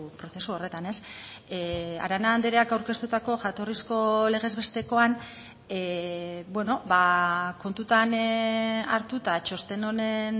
prozesu horretan arana andreak aurkeztutako jatorrizko legez bestekoan kontutan hartuta txosten honen